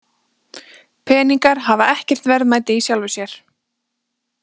Peningar hafa ekkert verðmæti í sjálfu sér.